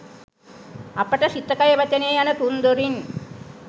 අපට සිත කය වචනය යන තුන්දොරින්